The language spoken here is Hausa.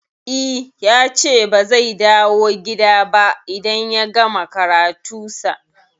I yace ba zai dawo gida ba idan ya gama karatu sa